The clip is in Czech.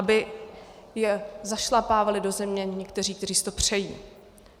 Aby je zašlapávali do země někteří, kteří si to přejí.